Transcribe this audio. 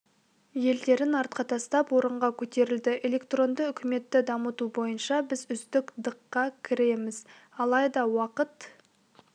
елдерін артқа тастап орынға көтерілді электронды үкіметті дамыту бойынша біз үздік дыққа кіреміз алайда уақыт